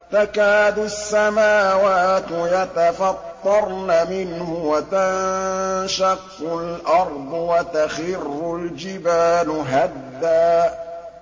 تَكَادُ السَّمَاوَاتُ يَتَفَطَّرْنَ مِنْهُ وَتَنشَقُّ الْأَرْضُ وَتَخِرُّ الْجِبَالُ هَدًّا